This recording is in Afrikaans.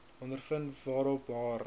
ondervind waarop haar